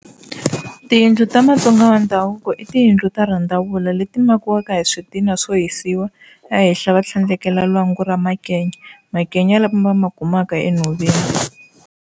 Tiyindlu ta matsonga wa ndhavuko i tiyindlu ta rhandavula leti makiwaka hi switina swo hisiwa a henhla va tlhandlekela lwangu ra makenya makenya lama va ma kumaka enhoveni